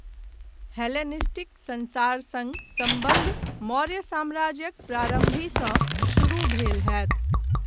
Hellenistic संसार सङ्ग सम्बन्ध मौर्य साम्राज्यक प्रारम्भहिसँ शुरू भेल होयत।